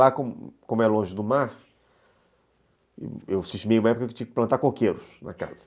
Lá, como é longe do mar, eu fiz que uma época que eu tinha que plantar coqueiros na casa.